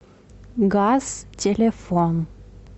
газ телефон